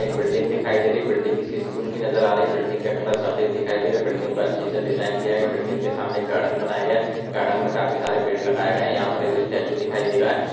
एक बिल्डिंग दिखाई दे रही है बिल्डिंग किसी स्कूल की नज़र आ रही है बिल्डिंग का कलर सफ़ेद दिखाई दे रहा है बिल्डिंग को अच्छे से डिज़ाइन किया गया है बिल्डिंग के सामने एक गार्डन बनाया गया है गार्डन में काफी सारे पेड़ लगाए गए हैं यहां पर एक स्टैच्चू दिखाई दे रही है।